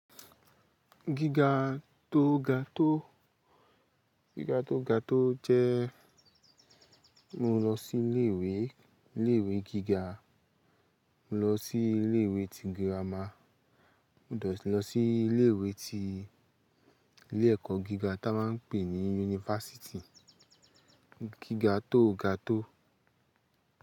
Gígá tó gá tó, gígá tó gá tó jẹ́ mó lọ sí ilé ìwé, ilé ìwé gígá, mó lọ sí ilé ìwé ti gírámá, mó dé sí lọ sí ilé ìwé tí, ilé ẹ̀kọ́ gíga tí a máa ń pè ní yunifásítì, gíga tó ga tó.